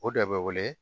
O de bɛ wele